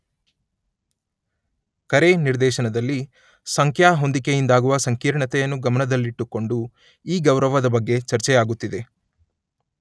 ಕರೆ ನಿರ್ದೇಶನದಲ್ಲಿ ಸಂಖ್ಯಾ ಹೊಂದಿಕೆಯಿಂದಾಗುವ ಸಂಕೀರ್ಣತೆಯನ್ನು ಗಮನದಲ್ಲಿಟ್ಟುಕೊಂಡು ಈ ಗೌರವದ ಬಗ್ಗೆ ಚರ್ಚೆಯಾಗುತ್ತಿದೆ.